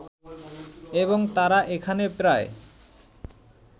এবং তারা এখানে প্রায়